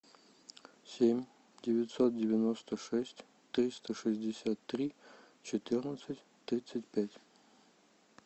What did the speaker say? семь девятьсот девяносто шесть триста шестьдесят три четырнадцать тридцать пять